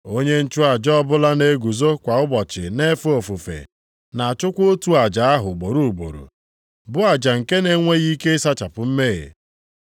Onye nchụaja ọbụla na-eguzo kwa ụbọchị na-efe ofufe, na-achụkwa otu aja ahụ ugboro ugboro, bụ aja nke na-enweghị ike ịsachapụ mmehie.